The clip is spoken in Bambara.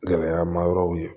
Gɛlɛya ma yɔrɔw ye